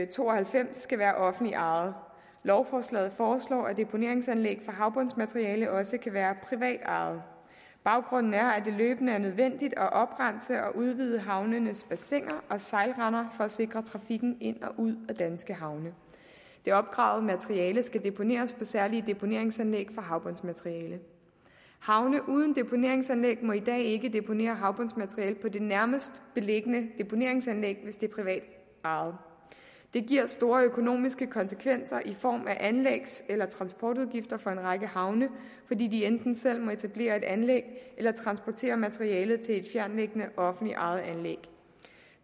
to og halvfems skal være offentligt ejet lovforslaget foreslår at deponeringsanlæg for havbundsmateriale også kan være privat ejet baggrunden er at det løbende er nødvendigt at oprense og udvide havnenes bassiner og sejlrender for at sikre trafikken ind og ud af danske havne det opgravede materiale skal deponeres på særlige deponeringsanlæg for havbundsmateriale havne uden deponeringsanlæg må i dag ikke deponere havbundsmateriale på det nærmest beliggende deponeringsanlæg hvis det er privat ejet det giver store økonomiske konsekvenser i form af anlægs eller transportudgifter for en række havne fordi de enten selv må etablere et anlæg eller transportere materialet til et fjerntliggende offentligt ejet anlæg